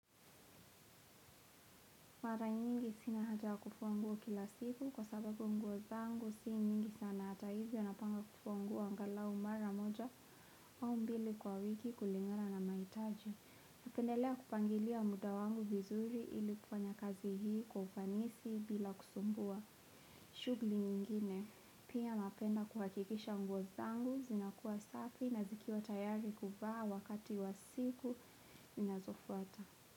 Mara nyingi sina haja ya kufua nguo kila siku kwa sababu nguo zangu si mingi sana hata hivyo napanga kufua nguo angalau mara moja au mbili kwa wiki kulingana na mahitaji. Napendelea kupangilia muda wangu vizuri ili kufanya kazi hii kwa ufanisi bila kusumbua. Shughuli nyingine, pia napenda kuhakikisha nguo zangu zinakuwa safi na zikiwa tayari kuvaa wakati wa siku zinazofuata.